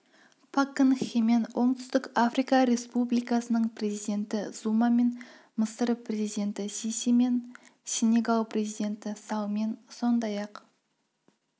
пак кын хемен оңтүстік африка республикасының президенті зумамен мысыр президенті сисимен сенегал президенті саллмен сондай-ақ